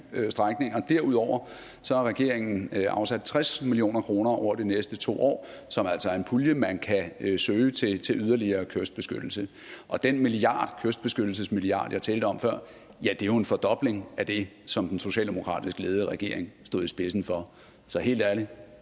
strækninger derudover har regeringen afsat tres million kroner over de næste to år som altså er en pulje man kan søge til til yderligere kystbeskyttelse og den kystbeskyttelsesmilliard jeg talte om før er jo en fordobling af det som den socialdemokratisk ledede regering stod i spidsen for så helt ærligt